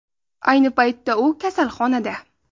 Ayni paytda u kasalxonada.